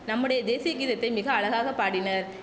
நம்முடைய தேசிய கீதத்தை மிக அழகாக பாடினர்